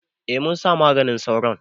A munsa maganin sauron